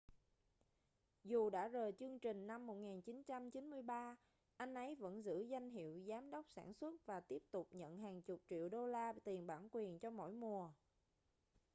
dù đã rời chương trình năm 1993 anh ấy vẫn giữ danh hiệu giám đốc sản xuất và tiếp tục nhận hàng chục triệu đô la tiền bản quyền cho mỗi mùa